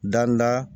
Danda